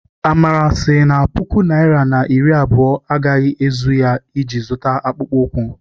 Amara sị na puku naịra na iri abụọ agaghị ezuru ya iji zụta akpụkpọ ụkwụ.